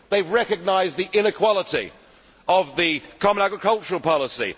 they have recognised the inequality of the common agricultural policy